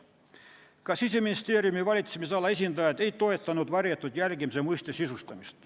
Ka Siseministeeriumi valitsemisala esindajad ei toetanud varjatud jälgimise mõiste sisustamist.